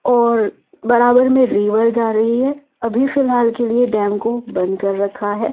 और बराबर में रिवर जा रही है अभी फिलहाल के लिए डैम को बंद कर रखा है ।